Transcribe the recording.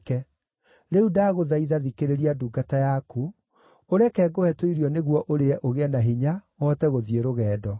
Rĩu ndagũthaitha, thikĩrĩria ndungata yaku, ũreke ngũhe tũirio nĩguo ũrĩe ũgĩe na hinya ũhote gũthiĩ rũgendo.”